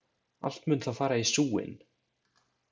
Allt mun það fara í súginn!